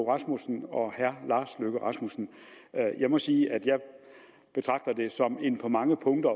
rasmussen og herre lars løkke rasmussen jeg må sige at jeg på mange punkter